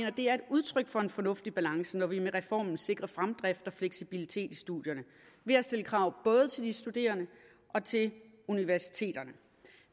udtryk for en fornuftig balance når vi med reformen sikrer fremdrift og fleksibilitet i studierne ved at stille krav både til de studerende og til universiteterne